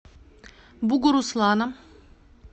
бугуруслана